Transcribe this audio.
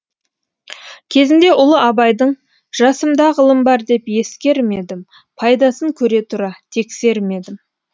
кезінде ұлы абайдың жасымда ғылым бар деп ескермедім пайдасын көре тұра тексермедім